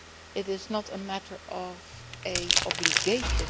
It is not a matter of an obligation